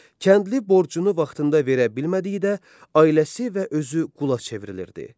Kəndli borcunu vaxtında verə bilmədiyi də ailəsi və özü qula çevrilirdi.